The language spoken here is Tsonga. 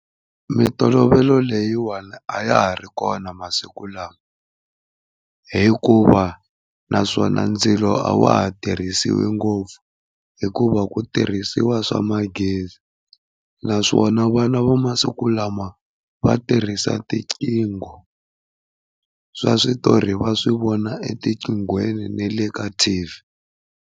Mitolovelo leyiwani a ya ha ri kona masiku lawa hikuva naswona ndzilo a wa ha tirhisiwi ngopfu hikuva ku tirhisiwa swa magezi, naswona vana va masiku lama va tirhisa tiqingho swa switori va swi vona etiqinghweni ne le ka T_V.